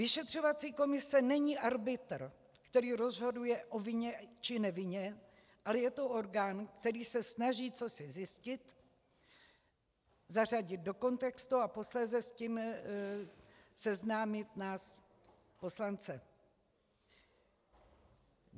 Vyšetřovací komise není arbitr, který rozhoduje o vině či nevině, ale je to orgán, který se snaží cosi zjistit, zařadit do kontextu a posléze s tím seznámit nás poslance.